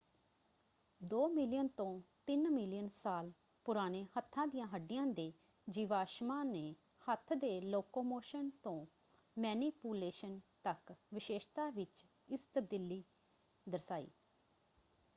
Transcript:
ਦੋ ਮਿਲੀਅਨ ਤੋਂ ਤਿੰਨ ਮਿਲੀਅਨ ਸਾਲ ਪੁਰਾਣੇ ਹੱਥਾਂ ਦੀਆਂ ਹੱਡੀਆਂ ਦੇ ਜੀਵਾਸ਼ਮਾਂ ਨੇ ਹੱਥ ਦੇ ਲੋਕੋਮੋਸ਼ਨ ਤੋਂ ਮੈਨੀਪੂਲੇਸ਼ਨ ਤੱਕ ਵਿਸ਼ੇਸ਼ਤਾ ਵਿੱਚ ਇਸ ਤਬਦੀਲੀ ਦਰਸਾਈ।